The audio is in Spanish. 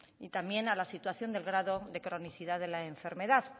y también a la situación del grado de la cronicidad de la enfermedad